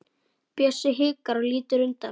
Bjössi hikar og lítur undan.